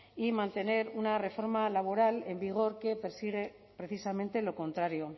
y mantener una reforma laboral en vigor que persigue precisamente lo contrario